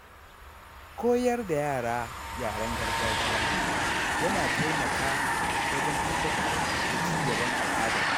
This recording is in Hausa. Koyar da yara yaren gargajiya yana taimaka wajen tabbatar da cigaban al’ada.